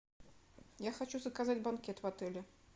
я хочу заказать банкет в отеле